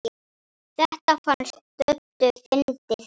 Þetta fannst Döddu fyndið.